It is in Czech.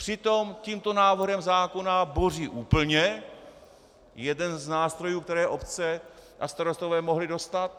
Přitom tímto návrhem zákona boří úplně jeden z nástrojů, které obce a starostové mohli dostat.